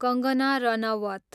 Kangana Ranaut